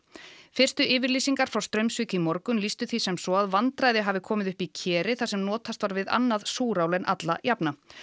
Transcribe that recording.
fyrstu yfirlýsingar frá Straumsvík í morgun lýstu því sem svo að vandræði hafi komið upp í keri þar sem notast var við annað súrál en alla jafna